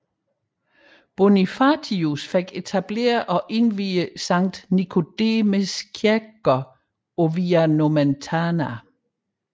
Bonifatius fik etableret og indviede Sankt Nicomedes kirkegård på Via Nomentana